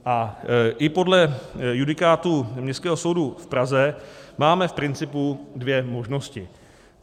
A i podle judikátu Městského soudu v Praze máme v principu dvě možnosti.